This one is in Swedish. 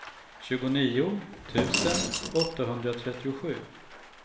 tjugonio tusen åttahundratrettiosju